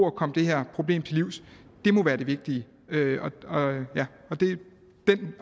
at komme det her problem til livs må være det vigtige den